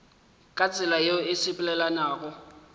ka tsela yeo e sepelelanago